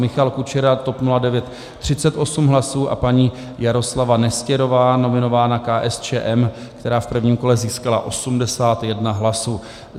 Michal Kučera, TOP 09, 38 hlasů, a paní Jaroslava Nestěrová, nominovaná KSČM, která v prvním kole získala 81 hlasů.